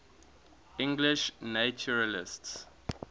english naturalists